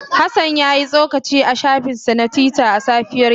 Hassan ya yi tsokaci a shafinsa na Twitter a safiyar yau.